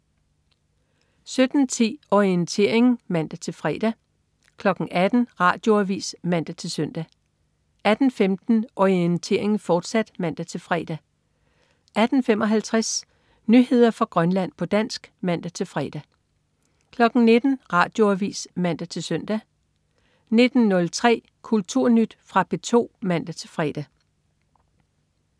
17.10 Orientering (man-fre) 18.00 Radioavis (man-søn) 18.15 Orientering, fortsat (man-fre) 18.55 Nyheder fra Grønland, på dansk (man-fre) 19.00 Radioavis (man-søn) 19.03 Kulturnyt. Fra P2 (man-fre)